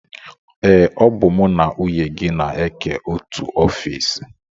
Ee, ọ bụ mụ na nwunye gị na-eke otu ofiisi